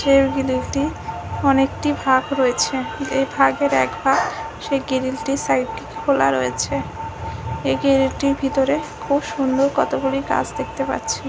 এই গ্রীলটির অনেকটি ফাঁক রয়েছে এই ভাগের এক ভাগ সে গ্রিলটি সাইডটি খোলা রয়েছে এই গ্রিলটির ভিতরে খুব সুন্দর কতগুলি গাছ দেখতে পাচ্ছি।